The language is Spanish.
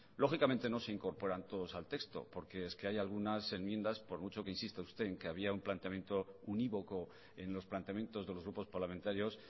lógicamente no se incorporan todos al texto porque hay unas enmiendas por mucho que insista usted en que había una planteamiento univoco en los planteamientos de los grupos parlamentarios